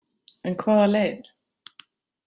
En hvaða leið?